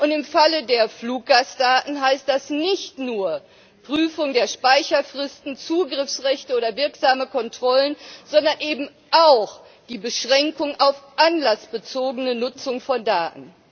Und im Falle der Fluggastdaten heißt das nicht nur Prüfung der Speicherfristen, Zugriffsrechte oder wirksame Kontrollen, sondern eben auch die Beschränkung auf die anlassbezogene Nutzung von Daten.